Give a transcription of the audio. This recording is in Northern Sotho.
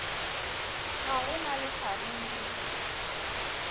ga go na le kgaruru